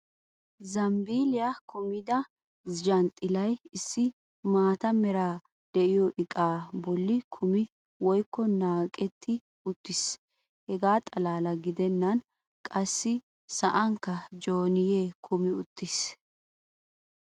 zambiiliya kummida zhanxxilay issi maata meray diyo iqaa boli kummi woykko naaqwtti uttiis. hegaa xalaala gidennan qassi sa'ankka joynee kummi uttiis.